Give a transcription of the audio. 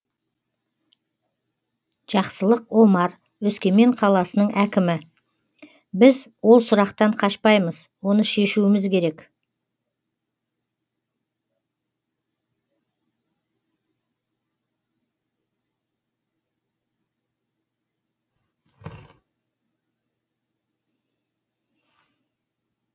жақсылық омар өскемен қаласының әкімі біз ол сұрақтан қашпаймыз оны шешуіміз керек